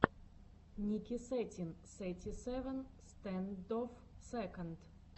ники сетин сети севен стэндофф сэконд